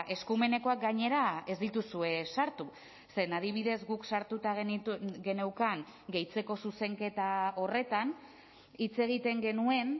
eskumenekoak gainera ez dituzue sartu zeren adibidez guk sartuta geneukan gehitzeko zuzenketa horretan hitz egiten genuen